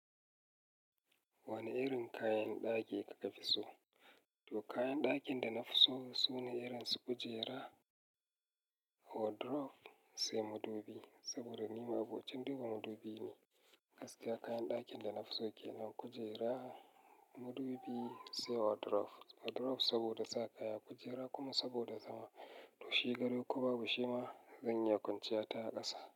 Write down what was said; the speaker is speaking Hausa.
Wane irin kayan ɗaki kika fi so? To kayan ɗakin da na fi so sune irin su kujera, wardrobe sai madubi. Saboda ni ma abovin ɗiba madubi ne. Gaskiya kayan ɗakin da na fi so kenan kujera, madubi sai wardrobe. Wardrobe saboda sa kaya, kujera kuma saboda zama. To shi gado ko babu shi ma zan iya kwanciya ta ƙasa.